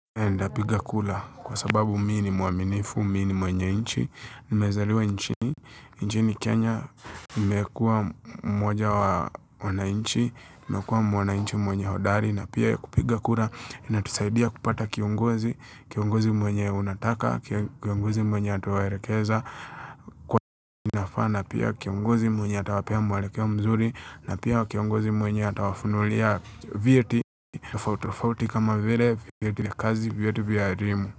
Ndapiga kura kwa sababu mi nimwaminifu, mi ni mwenye nchi, nimezaliwa nchini, nchini Kenya, nimekuwa mmoja wanainchi, nimekuwa mwananchi mwenye hodari na pia kupiga kura inatusaidia kupata kiongozi, kiongozi mwenye unataka, kiongozi mwenye atawaelekeza kwa inafaa pia kiongozi mwenye atawapea mwelekeo mzuri na pia kiongozi mwenye atawafununulia vyeti tofauti tofauti kama vile vyeti vya kazi vyeti vya elimu.